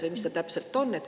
Või mis ta täpselt on?